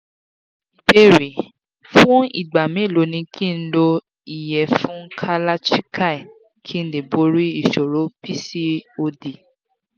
ìbéèrè: fún ìgbà mélòó ni ki n lo iyefun kalachikai kí n lè borí ìṣòro pcod